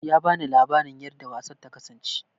Ya bani labarin yarda wasan ta kasance